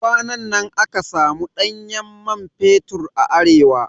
Kwanan nan aka samu ɗanyen man fetur a Arewa